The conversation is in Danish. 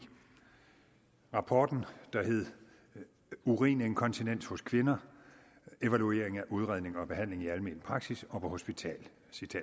rapporten der hed urininkontinens hos kvinder evaluering af udredning og behandling i almen praksis og på hospital